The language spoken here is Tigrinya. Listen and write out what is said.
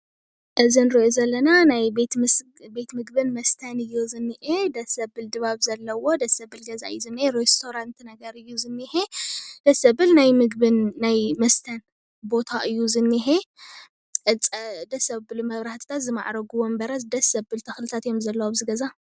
እዚ ንሪኦ ዘለና ናይ ቤት ምግብን መስተን እዩ ዝኒኤ ድስ ዘብል ድባብ ዘለዎ ደስ ዘብል ገዛ እዩ ዝኒኤ ሬስቶራት ነገር እዩ ዝኒሂ ደስ ዘብል ናይ ምግብን ናይ መስተን ቦታ እዩ:: ዝኒኤ ደስ ዘብል መብራህትታትን ዝማዕረጉ ወንበራት ደስ ዘብል ተክልታት እዩ ዘሎ አብዚ ገዛ፡፡